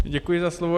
Děkuji za slovo.